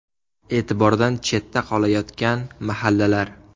E’tibordan chetda qolayotgan mahallalar.